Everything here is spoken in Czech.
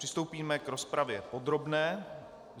Přistoupíme k rozpravě podrobné.